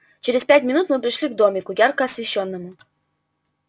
через пять минут мы пришли к домику ярко освещённому